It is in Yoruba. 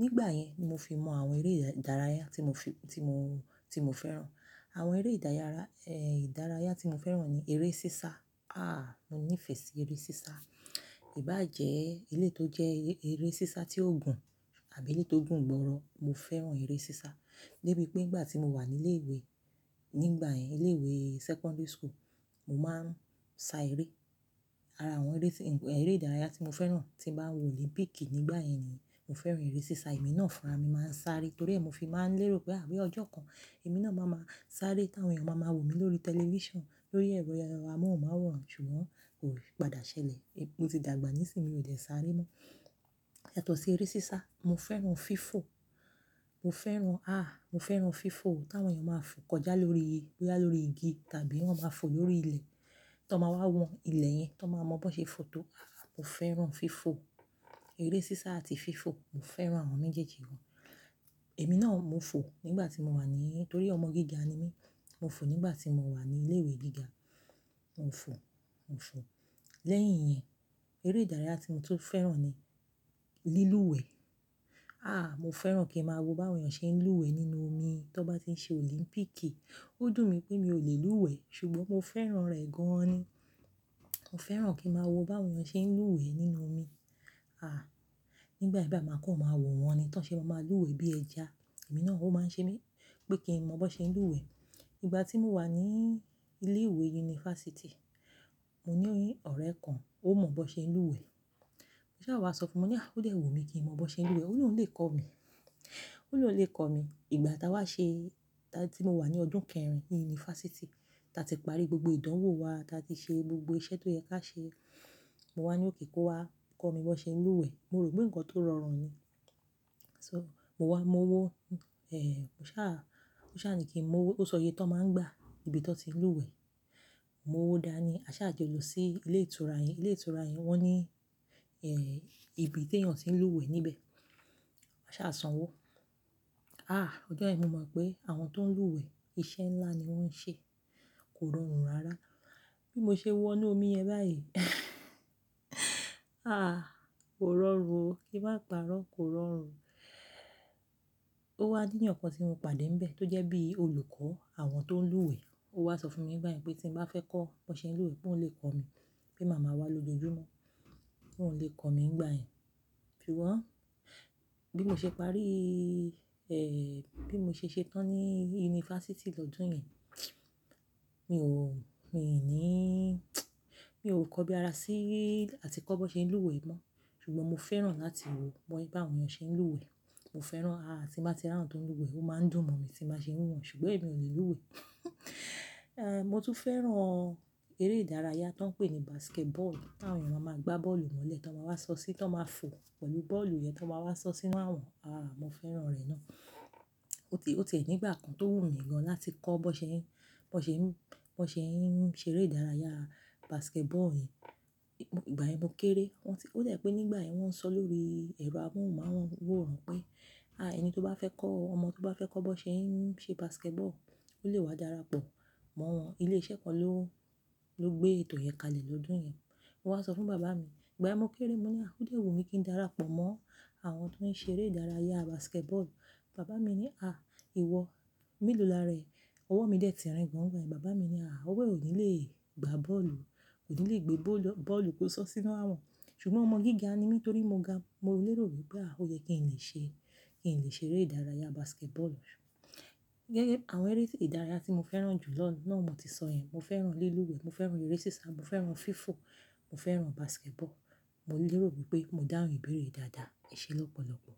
Nígbà yẹn ni mo fi mọ àwọn eré ìdárayá tí mọ fi, tí mo, tí mo fẹ́ràn. Àwọn eré ìdárayá, eh, ìdárayá tí mo fẹ́ràn ni eré sísá. Ah, mo nífẹ̀ẹ́ sí eré sísá. Ìbá jẹ́ eléyìí tó jẹ́ ẹrẹ́ sísá tí ó gùn àbí èyí tó gùn gbọ́rọ́. Mo fẹ́ràn eré sísá. Débi pé ìgbà tí mo wà ní ilé ìwé, nígbà yẹn ilé ìwé secondary school, mo máa ń sá eré. Ara àwọn eré, eré ìdárayá tí mo fẹ́ràn tí ń bá wòó Olimpíìkì nígbà yẹn ni mo fẹ́ràn eré sísá. Èmi náà fúnra mi máa ń sáré torí è mó fi máa ń lérò pé à ní ọjọ́ kan èmi náà máa má sáré kí àwọn èèyàn máa má wò mi lórí tẹlifíṣàn lórí ẹ̀rọ amóhùnmáwòrán. Ṣùgbọ́n kò padà ṣẹlẹ̀. Mo ti dàgbà nísìínyi, mi ò lè sáré mọ́. Yátọ̀ sí eré sísá, mo fẹ́ràn fífò. Mo fẹ́ràn, ah, mo fẹ́ràn fífò. Kàwọn èèyàn máa ń fo kọjá lórí, boyà lórí igi tàbí wọ́n máa fo lórí ilẹ̀ to máa wá wọn ilẹ̀ yẹn to máa mọ bó ṣe fo tó. Mọ fẹ́ràn fífò. Eré sísá àti fífò, Mọ fẹ́ràn awọ́n méjèèjì gan. Àbí eléyìí tó gùn gbọ́rọ́. Mo fẹ́ràn eré sísá. Mo fo nígbà tí mo wà ní ilé ìwé gíga. Mo fo, mo fo. Lẹ́yìn yẹn, eré ìdárayá tí mọ tún fẹ́ràn ni lílúwẹ̀ẹ́. Débí pé ìgbà tí mo wà ní ilé ìwé, nígbà yẹn ilé ìwé secondary school, mo máa ń sá eré. Ó dùn mí pé mi ò lè lúwẹ̀ẹ́, ṣùgbọ́n mo fẹ́ràn rẹ̀ gan an ni. Mo fẹ́ràn kí ń máa wo báwọn èèyàn ṣe ń lúwẹ̀ẹ́ nínú omi. Ah, nígbà mì báyìí máa kọ́, máa wòó wọn ni. Kàwọn èèyàn máa ń fo kọjá lórí, boyà lórí igi tàbí wọ́n máa fò lórí ilẹ̀ tó n máa wá wọn ilẹ̀ yẹn tó máa mọ bó ṣe fo tó. Mo fẹ́ràn fífò. Ìgbà tí mo wà ní ilé ìwé yunifásítì, mo ní ọ̀rẹ́ kan ó mọ bó ṣe ń lúwẹ̀ẹ́. Ó sá wá sọ fún mi ní, "O dé wùmí kí n mọ bó ṣe ń lúwẹ̀ẹ́." Ó ní òun lè kọ́ mi. Ó ní òun lè kọ́ mi. Ìgbà tá wa ṣe, tá tí mo wà ní ọdún kẹ́rin ní yunifásítì, ta ti parí gbogbo ìdánwò wa, ta ti ṣe gbogbo iṣẹ́ tó yẹ ká ṣe, mo wá ní okay, kó wá kọ́ mi bó ṣe ń lúwẹ̀ẹ́. Mo rò pé nǹkan tó rọrùn ni. So, mo wá, mọwó, eh, ó ṣà, ó ṣà ni kí ń mọwo, ó sọ iyẹ tó máa ń gbá nibi tó ti ń lúwẹ̀ẹ́. Mọwo dáni. A sá jọ lọ sí ilé ìtura yẹn. Ilé ìtura yẹn wọ́n ní, eh, ibi tèyàn tí ń lúwẹ̀ẹ́ níbẹ̀. A sá sanwó. Ah, ọjọ́ yẹn mo mọ̀ pé àwọn tó ń lúwẹ̀ẹ́, iṣẹ́ ńlá ni wọ́n ń ṣe. Kò rọrùn rárá. Bí mo ṣe wọ inú omi yẹn báyìí, ah, kò rọrùn o. Kí máa pà rọ, kò rọrùn. Ó wá nìyàn kàn tí mo pàdé níbẹ̀ tó jẹ́ bí olùkọ́ àwọn tó ń lúwẹ̀ẹ́. Ó wá sọ fún mi gbá yẹn pé tín bá fẹ́ kọ́ bó ṣe ń lúwẹ̀ẹ́ pé oún lè kọ́ mi. Pé màmá wa lójoojúmó. Pé òun lè kọ́ mi nígbà yẹn. Ṣùgbọ́n bí mo ṣe parí, eh, bí mo ṣe ṣetán ní yunifásítì lọ́dún yẹn, mi ò, mi ò ní, mi ò kọ́ bí ara sí, àti kọ́ bó ṣe ń lúwẹ̀ẹ́ mọ́. Ṣùgbọ́n mo fẹ́ràn láti wo bàwọn èèyàn ṣe ń lúwẹ̀ẹ́. Mo fẹ́ràn, ah, tín bá ti rí àwọn tó ń lúwẹ̀ẹ́ ó máa ń dùn mọ̀ mí tín bá ṣe ń wo wọn, ṣùgbọ́n èmi ò lúwẹ̀ẹ́. Eh, mo tún fẹ́ràn eré ìdárayá tó ń pè ní basketball. Tàwọn èèyàn máa ma gbá bọ́ọ̀lù mọ́lẹ̀ tó máa wá sọ sí, tó máa fo pẹ̀lú bọ́ọ̀lù yẹn tó máa wá sọ sínu awọn. Ah, mo fẹ́ràn rẹ̀ náà. O ti è nígbà kan tó wù mí gán láti kọ́ bó ṣe ń, bó ṣe ń, bó ṣe ń ṣe eré ìdárayá basketball yìí. Ìgbà yẹn mọ kéré. Wọ́n ti, ó dà pé nígbà yẹn wọ́n sọ lórí ẹ̀rọ amóhùnmáwòrán pé, "Ah, ẹni tó bá fẹ́ kọ́, ọmọ tó bá fẹ́ kọ́ bó ṣe ń ṣe basketball, ó lè wá darapọ̀ mọ́ wọn." Ilé iṣẹ́ kan ló, ló gbé ètò yẹn kalẹ̀ lọ́dún yẹn. Mọ wá sọ fún bàbá mi. Ìgbà yẹn mo kéré, mo ní, "O dé wùmí kí n darapọ̀ mọ́ àwọn tó ń ṣe eré ìdárayá basketball." Bàbá mi ní, "Ah, ìwọ, melò lára rẹ̀." Ọwọ́ mi dẹ̀ tirin gan gbà yẹn. Bàbá mi ní, "Ah, ọ̀wọ́ ẹ ò ní lè gbá bọ́ọ̀lù, kò ní lè gbé bóólu, bọ́ọ̀lù kó sọ sínú wájú wọn." Ṣùgbọ́n ọmọ gíga ni mí torí mo ga, mo lérò wípé ah, ó yẹ kí n lè ṣe, kí n lè ṣe eré ìdárayá basketball. Gẹ́gẹ́ àwọn eré tí ìdárayá tí mo fẹ́ràn jù lọ náà mo ti sọ yẹn. Mọ fẹ́ràn lílúwẹ̀ẹ́, mo fẹ́ràn eré sísá, mo fẹ́ràn fífò, mo fẹ́ràn basketball. Mọ lérò wípé mo dáhùn ìbéèrè dáadáa. Ẹṣẹ́ lọ́pọ̀lọ́pọ̀.